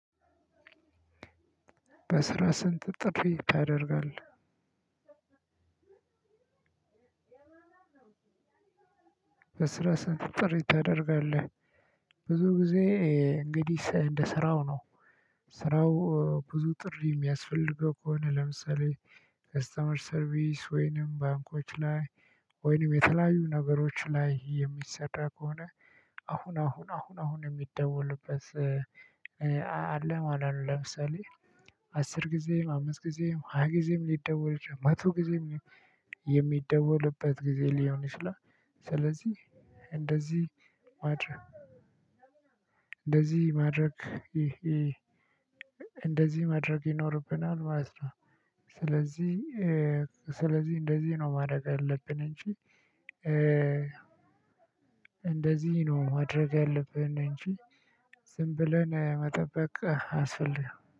በስራህ ስንት ጥሪ ታደርጋለህ በስራ ስንት ጥሪ ታደርጋለህ ብዙ ጊዜ እንግዲህ እንደ ስራው ነው ስራው ብዙ ጥሪ የሚያስፈልገው ከሆነ ለምሳሌ ከስተመር ሰርቪስ ወይንም ባንኮች ላይ ወይንም የተለያዩ ነገሮች ላይ የሚሰራ ከሆነ አሁን አሁን አሁን አሁን የሚደወልበት አለ ማለት ነው። ለምሳሌ አስር ጊዜም አምስት ጊዜም ሃያ ጊዜም ሊደወል ይችላል። መቶ ጊዜም የሚደወልበት ጊዜ ሊሆን ይችላል። ስለዚህ እንደዚህ ማድረግ እንደዚህ ማድረግ ይኖርብናል ማለት ነው። ስለዚህ ስለዚህ እንደዚህ ነው ማድረግ ያለብን እንጂ እንደዚህ ነው ማድረግ ያለብን እንጂ ዝም ብለን መጠበቅ አያስፈልግም።